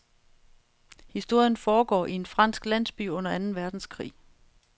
Historien foregår i en fransk landsby under anden verdenskrig.